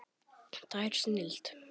Tær snilld.